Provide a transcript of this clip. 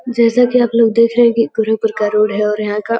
जैसा कि आप लोग देख रहे हैं कि गुरुपुर का रोड है और यहां का --